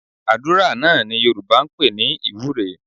Àdúrà náà ni Yorùbá ń pè ní ìwúre